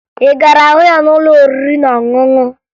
Ị gara hụ ya n'ụlọ oriri na ọṅụṅụ?